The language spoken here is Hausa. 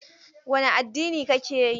Wane addini kake yi?